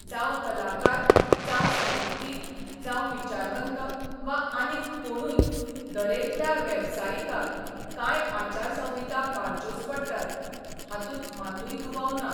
जावं कलाकार, जावं साहित्यीक, जावं विचारवंत वा आनीक कोणूय दरेकल्या बेवसायिकाक कांय आचारसंहिता पाळच्योच पडटात हातूंत मातूय दुबाव ना.